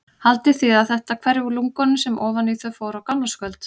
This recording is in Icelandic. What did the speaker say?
Haldið þið að þetta hverfi úr lungunum sem ofan í þau fór á gamlárskvöld?